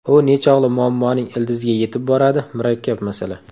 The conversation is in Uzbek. U nechog‘li muammoning ildiziga yetib boradi murakkab masala.